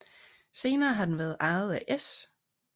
Senere har den været ejet af S